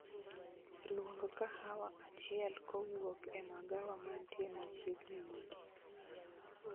Luong kahawa achiel kowuok e magawa mantie machiegni mogik